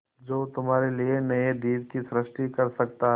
जो तुम्हारे लिए नए द्वीप की सृष्टि कर सकता है